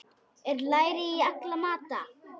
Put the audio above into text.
Er læri í alla mata?